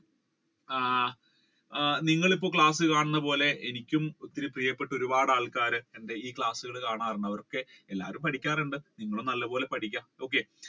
ആ നിങ്ങൾ ഇപ്പൊ okay കാണുന്നത് പോലെ എനിക്കും ഒരുപാട് പ്രിയപ്പെട്ട ഒരുപാട് ആളുകൾ എന്റെ ഈ class ഉകൾ കാണാറുണ്ട് എല്ലാരും പഠിക്കാറുണ്ട് നിങ്ങളും നല്ല പോലെ പഠിക്കണം. okay